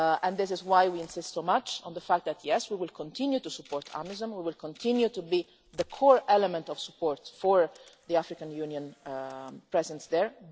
This is why we insist so much on the fact that we will continue to support AMISOM and will continue to be the core element of support for the African Union presence there.